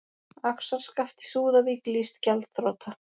Axarskaft í Súðavík lýst gjaldþrota